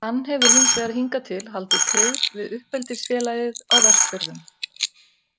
Hann hefur hins vegar hingað til haldið tryggð við uppeldisfélagið á Vestfjörðum.